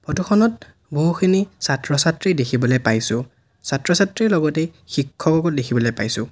ফটোখনত বহুখিনি ছাত্ৰ ছাত্ৰী দেখিবলৈ পাইছোঁ ছাত্ৰ ছাত্ৰীৰ লগতে শিক্ষককো দেখিবলৈ পাইছোঁ।